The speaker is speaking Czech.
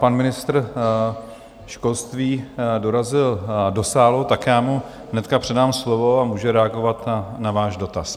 Pan ministr školství dorazil do sálu, tak já mu hned předám slovo a může reagovat na váš dotaz.